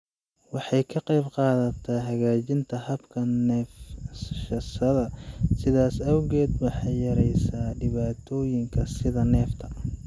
Waxay ka qaybqaadataa hagaajinta habka neefsashada, sidaas awgeed waxay yareysaa dhibaatooyinka sida neefta.